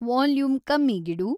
volume ಕಮ್ಮೀಗಿಡು